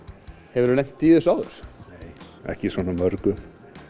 hefur þú lent í þessu áður nei ekki svona mörgum